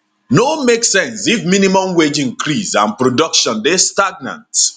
no make sense if minimum wage increase and production dey stagnant